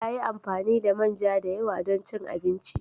Ta yi amfani da manja da yawa don cin abinci.